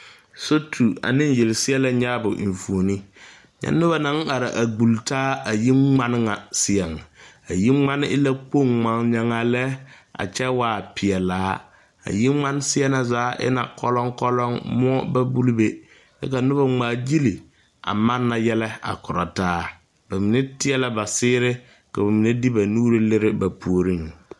Sotu ane yelseɛlɛ nyaabo eŋfuoni nyɛ noba naŋ are a gbulli taa a yiŋmane ŋa seɛŋ a yiŋmane e la kpoŋ ŋmagnyaŋaa lɛ a kyɛ waa pelaa a yiŋmane seɛ na zaa e la kɔlɔŋ kɔlɔŋ moɔ ba buli be kyɛ ka noba ŋmaagyili a manna yɛlɛ a korɔ taa ba mine teɛ la ba seere ka ba mine de ba nuure lere ba puoriŋ.